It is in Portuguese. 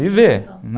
Viver